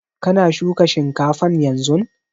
Kana shuka shinkafan yanzun?